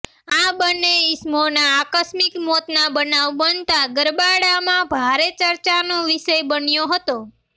આ બંને ઇસમોના આકસ્મિક મોતના બનાવ બનતા ગરબાડામાં ભારે ચર્ચાનો વિષય બન્યો હતો